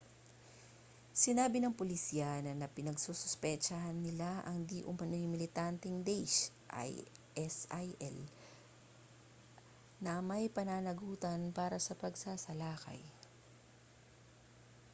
sinabi ng pulisya na pinagsususpetsahan nila ang di-umano'y militanteng daesh isil na may pananagutan para sa pagsalakay